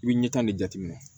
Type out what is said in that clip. I bɛ ɲɛta de jateminɛ